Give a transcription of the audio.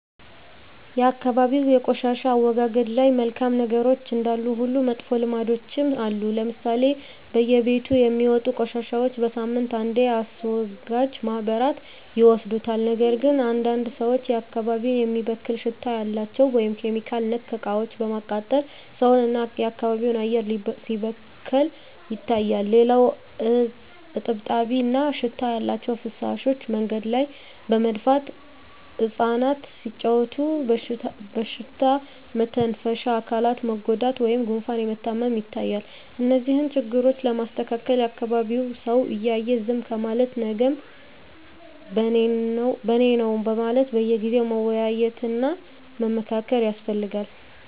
የአካባቢ የቆሻሻ አወጋገድ ላይ መልካም ነገሮች እንዳሉ ሁሉ መጥፎ ልምዶችም አሉ ለምሳሌ በየቤቱ የሚወጡ ቆሻሻዎች በሳምንት አንዴ አስወጋጅ ማህበራት ይወስዱታል ነገር ግን አንዳንድ ሰዎች አካባቢን የሚበክል ሽታ ያላቸው (ኬሚካል)ነክ እቃዎችን በማቃጠል ሰውን እና የአካባቢ አየር ሲበከል ይታያል። ሌላው እጥብጣቢ እና ሽታ ያላቸው ፍሳሾች መንገድ ላይ በመድፋት እፃናት ሲጫዎቱ በሽታ መተንፈሻ አካላት መጎዳት ወይም ጉፋን መታመም ይታያል። እነዚህን ችግሮች ለማስተካከል የአካቢዉ ሰው እያየ ዝም ከማለት ነገም በኔነው በማለት በየጊዜው መወያየት እና መመካከር ያስፈልጋል።